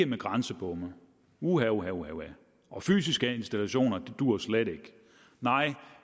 med grænsebomme uha uha uha og fysiske installationer duer slet ikke nej